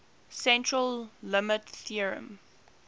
central limit theorem